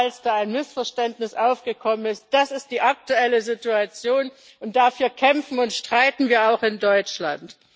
Falls da ein Missverständnis aufgekommen ist das ist die aktuelle Situation, und dafür kämpfen und streiten wir auch in Deutschland.